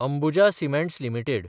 Ambuja cements limited